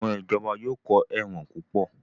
Àwọn Ìjọba yóò kọ́ ẹ̀wọ̀n púpọ̀